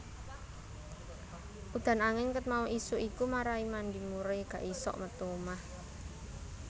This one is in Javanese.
Udan angin ket mau isuk iku marai Mandy Moore gak isok metu omah